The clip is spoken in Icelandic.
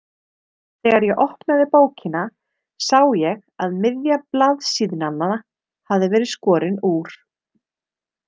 Þegar ég opnaði bókina sá ég að miðja blaðsíðnanna hafði verið skorin úr.